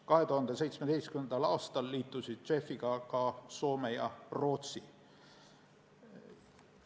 2017. aastal liitusid JEF-iga ka Soome ja Rootsi.